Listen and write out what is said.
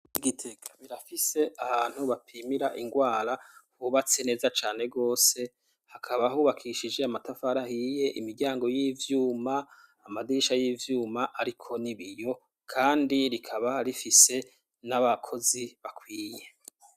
Igitega barafise ahantu bapimira ingwara, hubatse neza cane gose, hakaba hubakishije amatafari ahiye imiryango y'ivyuma, amadirisha y'ivyuma, hariko nibiyo kandi rikaba rifise n'abakozi bakwiye.